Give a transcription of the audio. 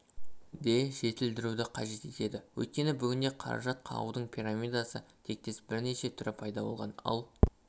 де жетілдіруді қажет етеді өйткені бүгінде қаражат қағудың пирамида тектес бірнеше түрі пайда болған ал